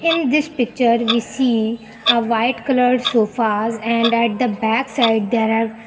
In this picture we see a white colour sofas and at the back side there are --